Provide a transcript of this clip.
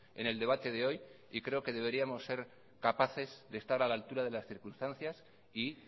en el debate de hoy y creo que deberíamos ser capaces de estar a la altura de las circunstancias y